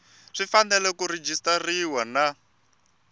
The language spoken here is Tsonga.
swi fanele ku rejistariwa na